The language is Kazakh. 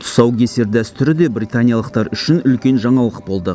тұсаукесер дәстүрі де британиялықтар үшін үлкен жаңалық болды